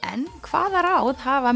en hvaða ráð hafa